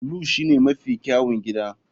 Blue shine mafi kyawun gida.